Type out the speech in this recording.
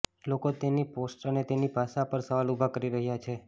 લોકો તેની પોસ્ટ્સ અને તેની ભાષા પરસવાલ ઉભા કરી રહ્યા છે